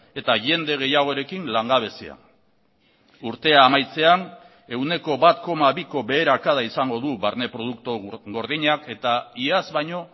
eta jende gehiagorekin langabezia urtea amaitzean ehuneko bat koma biko beherakada izango du barne produktu gordinak eta iaz baino